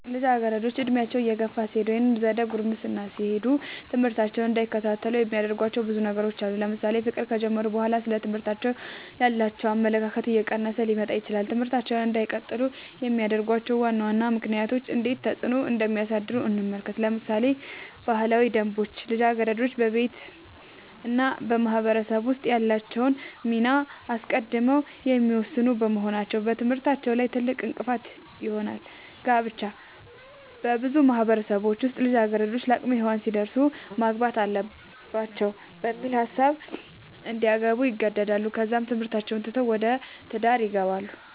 ልጃገረዶች ዕድሜያቸው እየገፋ ሲሄድ ወይም ዘደ ጉርምስና ሲሄዱ ትምህርታቸውን እንዳይከታተሉ የሚያደርጉዋቸው ብዙ ነገሮች አሉ ለምሳሌ ፍቅር ከጀመሩ በኋላ ስለ ትምህርት ያላቸው አመለካከት እየቀነሰ ሊመጣ ይችላል ትምህርታቸውን እንዳይቀጥሉ የሚያደርጉዋቸው ዋና ዋና ምክንያቶች እንዴት ተፅዕኖ እንደሚያሳድሩ እንመልከት ለምሳሌ ባህላዊ ደንቦች ልጃገረዶች በቤተሰብ እና በማህበረሰብ ውስጥ ያላቸውን ሚና አስቀድመው የሚወስኑ በመሆናቸው በትምህርታቸው ላይ ትልቅእንቅፋት ይሆናል። ጋብቻ- በብዙ ማህበረሰቦች ውስጥ ልጃገረዶች ለአቅመ ሄዋን ሲደርሱ ማግባት አለባቸው በሚል ሀሳብ እንዲያገቡ ይገደዳሉ ከዛም ትምህርታቸውን ትተው ወደ ትዳር ይገባሉ።